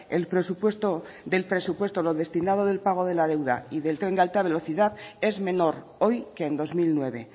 el presupuesto del presupuesto lo destinado del pago de la deuda y del tren de alta velocidad es menor hoy que en dos mil nueve